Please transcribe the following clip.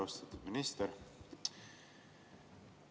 Austatud minister!